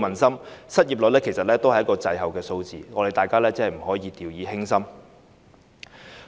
失業率是滯後的數字，大家真的不可掉以輕心。